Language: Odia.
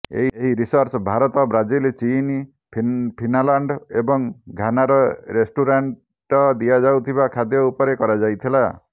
ଏହି ରିସର୍ଚ୍ଚ ଭାରତ ବ୍ରାଜିଲ ଚୀନ ଫିନାଲାଣ୍ଡ ଏବଂ ଘାନାର ରେଷ୍ଟ୍ରୋରାଣ୍ଟ ଦିଆଯାଉଥିବା ଖାଦ୍ୟ ଉପରେ କରାଯାଇଥିଲା